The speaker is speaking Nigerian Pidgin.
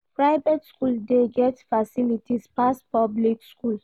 Private skool dey get facilities pass public skool.